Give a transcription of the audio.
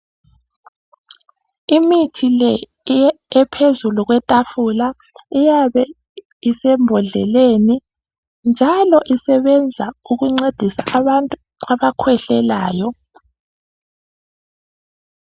Imithi le ephezulu kwetafula iyabe isembodleleni njalo isebenza ukuncedisa abantu abakhwehlelayo.